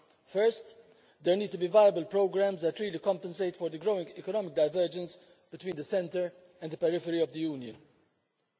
First, there need to be viable programmes that really compensate for the growing economic divergence between the centre and the periphery of the European Union.